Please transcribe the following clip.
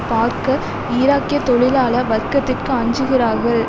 பார்க்க ஈராக்கிய தொழிலாள வர்க்கதிற்கு அஞ்சுகிறார்கள்